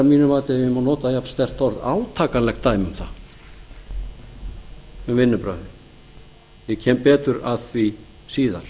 ef ég má nota jafn sterkt orð átakanlegt dæmi um það um vinnubrögðin ég kem betur að því síðar